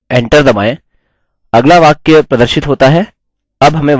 enter दबाएँ अगला वाक्य प्रदर्शित होता है